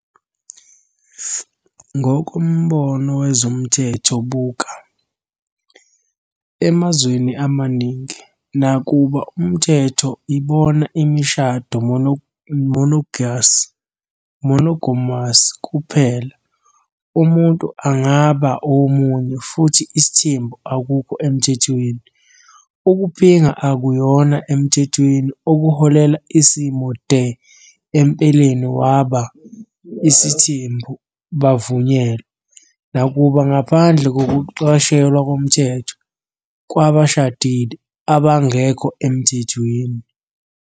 Ngokombono wezomthetho buka, emazweni amaningi, nakuba umthetho ibona imishado monogamous kuphela, umuntu angaba omunye, futhi isithembu akukho emthethweni, ukuphinga akuyona emthethweni, okuholela isimo "de empeleni waba" isithembu bavunyelwa, nakuba ngaphandle kokuqashelwa ngokomthetho "kwabashadile" abangekho emthethweni.